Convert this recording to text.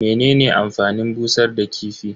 Menene amfanin busar da kifi?